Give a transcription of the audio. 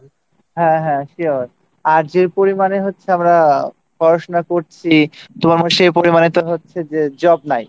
হ্যাঁ হ্যাঁ Sure আর যে পরিমাণে হচ্ছে আমরা পড়াশোনা করছি তো আমরা সেই পরিমাণে হচ্ছে job নাই